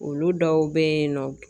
Olu dɔw be yen nɔ